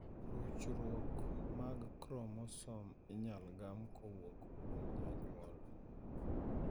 Ruchruok mar kromosom inyalo gam kowuok kuom janyuol.